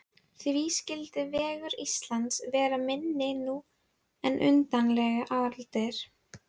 Undirlag neðra grágrýtislagsins er þarna undir sjávarmáli.